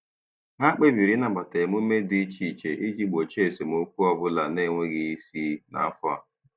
Ha kpebiri ịnabata emume dị iche iche iji gbochie esemokwu ọ bụla na-enweghị isi n'afọ a.